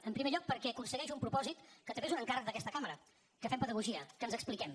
en primer lloc perquè aconsegueix un propòsit que també és un encàrrec d’aquesta cambra que fem pedagogia que ens expliquem